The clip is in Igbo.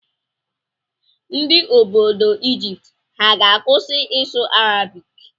Ndị obodo Ijipt ha ga-akwụsị ịsụ Arabik?